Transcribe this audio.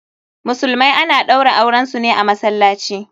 Musulmai ana ɗaura auren su ne a masallaci.